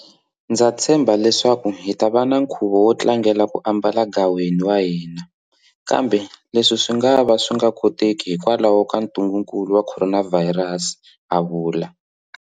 Ndza tshemba leswaku hi ta va na nkhuvu wo tlangela ku ambala gaweni wa hina, kambe le swi swi nga ka swi nga koteki hikwalaho ka ntungukulu wa khoronavhayirasi, a vula.